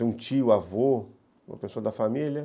Um tio, avô, uma pessoa da família.